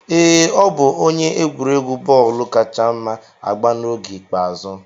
Ee, ọ bụ onye egwuregwu bọọlụ kacha mma agba n'oge ikpeazụ.